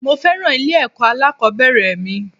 Mo féràn ilé ẹ̀kọ́ alákòbẹ̀rẹ̀ mi.